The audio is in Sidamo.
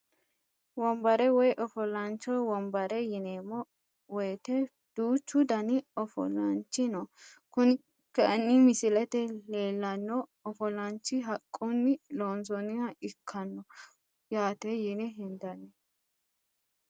Wonbare woyi ofolaancho wonbare yineemo woyite duuchu dani ofolaanchi no kuni kayiini misilete leelano ofolaanchi haqquni loonsooniha ikkano yaate yine hendani.